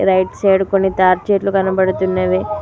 Right side కొన్ని తాడి చెట్లు కనబడుతున్నవి.